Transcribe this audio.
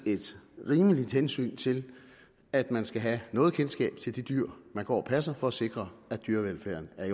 et rimeligt hensyn til at man skal have noget kendskab til det dyr man går og passer for at sikre at dyrevelfærden er